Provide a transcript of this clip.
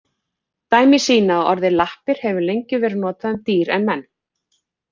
Dæmi sýna að orðið lappir hefur lengi verið notað um dýr og menn.